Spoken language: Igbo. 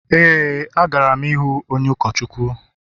Éè, agara m ịhụ onye ụkọchukwu